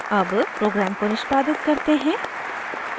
अब program को निष्पादित करते हैं